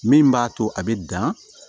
Min b'a to a bɛ dan